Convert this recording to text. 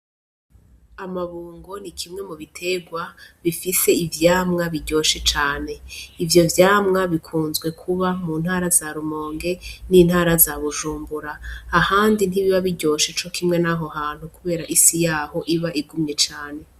Amabungo ni kimwe mu biterwa bifise ivyamwa biryoshe cane ivyo vyamwa bikunzwe kuba mu ntara za rumonge n'intara zabujumbura ahandi ntibiba biryoshe co kimwe, naho hantu, kubera isi yaho iba igumye cane.